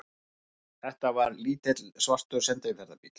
Þetta var lítill, svartur sendiferðabíll.